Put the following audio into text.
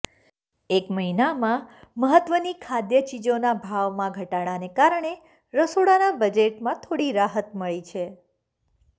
એક મહિનામાં મહત્ત્વની ખાદ્ય ચીજોના ભાવમાં ઘટાડાને કારણે રસોડાના બજેટમાં થોડી રાહત મળી છે